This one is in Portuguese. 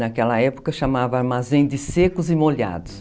Naquela época chamava armazém de secos e molhados.